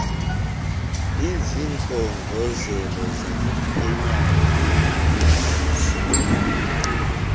izikhongozelo zamaphenyane ezinokuzaliswa